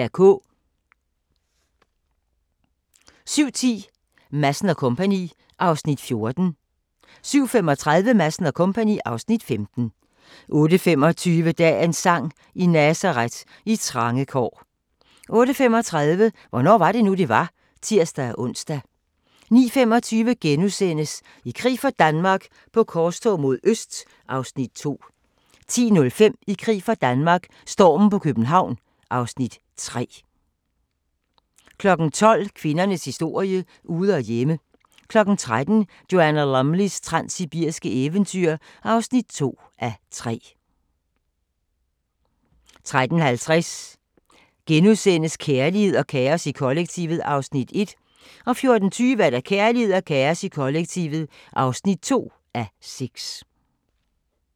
07:10: Madsen & Co. (Afs. 14) 07:35: Madsen & Co. (Afs. 15) 08:25: Dagens sang: I Nazaret, i trange kår 08:35: Hvornår var det nu, det var? (tir-ons) 09:25: I krig for Danmark - på korstog mod øst (Afs. 2)* 10:05: I krig for Danmark - stormen på København (Afs. 3) 12:00: Kvindernes historie – ude og hjemme 13:00: Joanna Lumleys transsibiriske eventyr (2:3) 13:50: Kærlighed og kaos i kollektivet (1:6)* 14:20: Kærlighed og kaos i kollektivet (2:6)